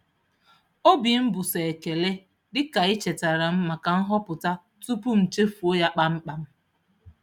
Obi m bụ sọ ekele dị ka ị chetara m maka nhọpụta tupu m chefuo ya kpam kpam.